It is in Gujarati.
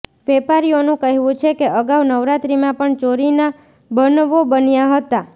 વેપારીઓનું કહેવું છે કે અગાઉ નવરાત્રીમાં પણ ચોરી ના બનવો બન્યા હતા